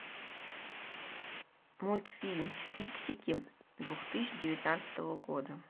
мультфильм фиксики две тысячи девятнадцатого года